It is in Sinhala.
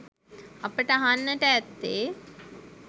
අපට අහන්නට ඇත්තේ